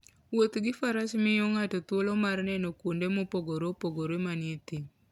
Wuoth gi faras miyo ng'ato thuolo mar neno kuonde mopogore opogore manie thim.